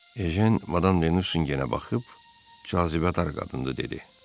Ejen Madam de Nusingenə baxıb, cazibədar qadındır dedi.